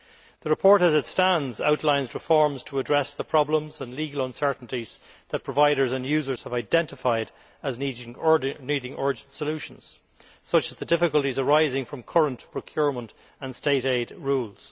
The report as it stands outlines reforms to address the problems and legal uncertainties that providers and users have identified as needing urgent solutions, such as the difficulties arising from current procurement and state aid rules.